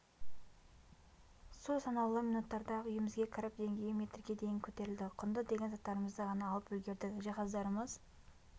су санаулы минуттарда-ақ үйімізге кіріп деңгейі метрге дейін көтерілді құнды деген заттарымызды ғана алып үлгердік жиһаздарымыз